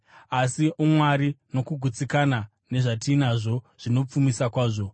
Asi umwari nokugutsikana nezvatinazvo zvinopfumisa kwazvo.